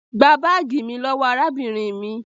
gbà baagi mí lówó arábìnrin mí!